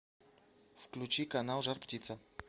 включи канал жар птица